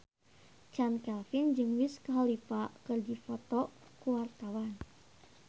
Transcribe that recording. Chand Kelvin jeung Wiz Khalifa keur dipoto ku wartawan